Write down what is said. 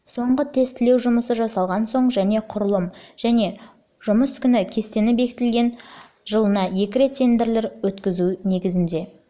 соңғы тестілеу жұмысы жасалған соң және құрылым мен жұмыс күні кестесі бекітілген соң жылына екі рет тендерлер өткізу негізінде